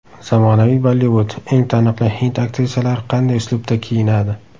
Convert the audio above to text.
Zamonaviy Bollivud: Eng taniqli hind aktrisalari qanday uslubda kiyinadi .